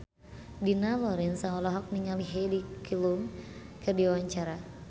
Dina Lorenza olohok ningali Heidi Klum keur diwawancara